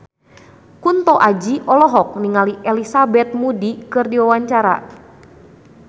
Kunto Aji olohok ningali Elizabeth Moody keur diwawancara